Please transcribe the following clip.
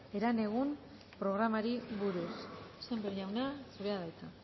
herenegun programari buruz sémper jauna zurea da hitza